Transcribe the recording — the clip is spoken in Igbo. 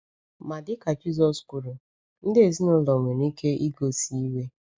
Ma dịka Jisọs kwuru, ndị ezinụlọ nwere ike igosi iwe.